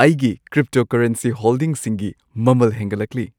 ꯑꯩꯒꯤ ꯀ꯭ꯔꯤꯞꯇꯣꯀꯔꯔꯦꯟꯁꯤ ꯍꯣꯜꯗꯤꯡꯁꯤꯡꯒꯤ ꯃꯃꯜ ꯍꯦꯟꯒꯠꯂꯛꯂꯤ ꯫